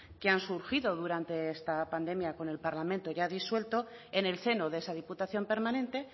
que han surgido durante esta pandemia con el parlamento ya disuelto en el seno de esa diputación permanente